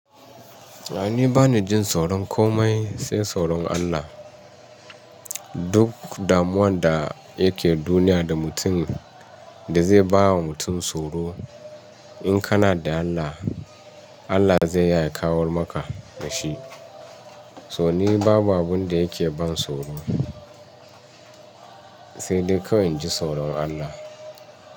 Ni bani jin tsoron komai sai tsoron Allah. Duk damuwan da yake duniya da mutum da zai bawa mutum tsoro in kana da Allah, Allah zai yaya kawo maka da shi. So ni babu abin da yake ban tsoro sai dai kawai jI tsoron Allah.